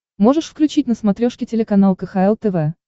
можешь включить на смотрешке телеканал кхл тв